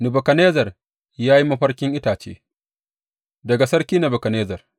Nebukadnezzar ya yi mafarkin itace Daga sarki Nebukadnezzar.